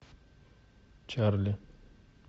чарли